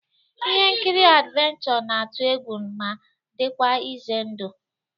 Ihe nkiri adivencho na-atụ egwu ma dịkwa ize ndụ